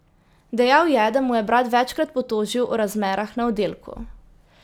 Dejal je, da mu je brat večkrat potožil o razmerah na oddelku.